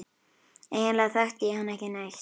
Eiginlega þekkti ég hann ekki neitt.